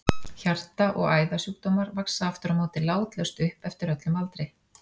Hjarta- og æðasjúkdómar vaxa aftur á móti látlaust upp eftir öllum aldri.